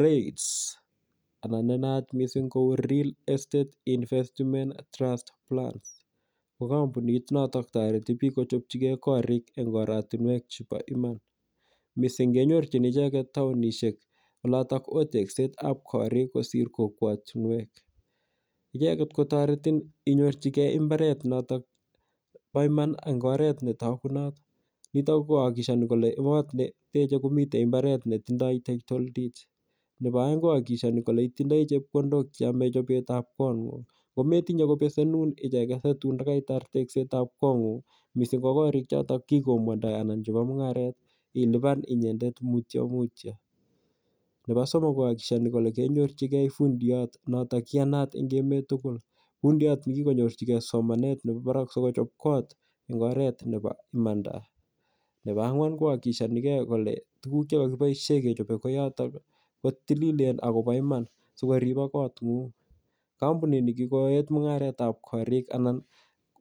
REITS anan ne naat missing' kou Real Estate Investment Trusts ko kampunit notok tareti piik kotekchigei korik eng' oratunwek chepo iman. Missing' kenyorchin icheget taonishek olatak oo tekset ap kariik kosir kokwatunwek. Icheget ko taretin inhorchigei imbaret notok po iman eng' oret ne tagunot. Nitok ko akikishani kole kot ne iteche ko mitei mbaret netindai Title deed. Nepo aeng' ko akikishani kole itindai chepkondok che yame chopet ap kong'ung'. Ak ngome tinye kopesenun icheget si tun ko kaitar teskset ap kong'ung' missing' ko kariik chotok kikombwandai anan chepo mung'aret ilipan inyendet mutya mutya. Nepo somok ko akikishani kole kenyorchigej fundiyat notok ne iyanat eng' emet tugul. Funidiyat ne kikonyorchigei somanet nepo parak aikochop kot eng' oret nepa imanda. Nepo ang'wan koakikishanigei kole tuguuk che kakichope kootok ko tililen ako pa iman asikorip kotng'ung'. Kampunini ko kiko et mung'aret ap karik anan